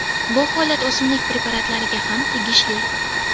Bu holat o‘simlik preparatlariga ham tegishli.